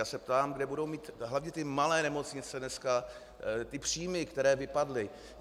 Já se ptám, kde budou mít hlavně ty malé nemocnice dnes ty příjmy, které vypadly.